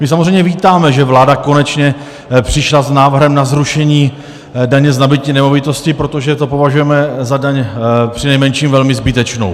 My samozřejmě vítáme, že vláda konečně přišla s návrhem na zrušení daně z nabytí nemovitosti, protože to považujeme za daň přinejmenším velmi zbytečnou.